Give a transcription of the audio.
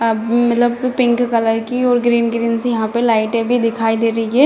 आ मतलब pink colour की और ग्रीन ग्रीन सी यहाँ पे लाइटे भी दिखाई दे रही है।